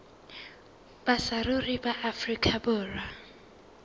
ba saruri ba afrika borwa